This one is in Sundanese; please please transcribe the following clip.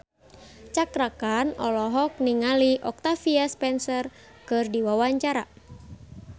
Cakra Khan olohok ningali Octavia Spencer keur diwawancara